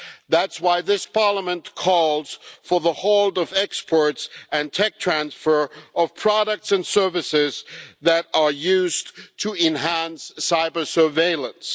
That's why this Parliament calls for the halt of exports and the tech transfer of products and services that are used to enhance cyber surveillance.